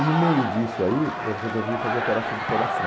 E no meio disso aí, eu resolvi fazer a operação do coração.